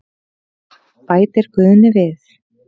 Bætir Guðni við.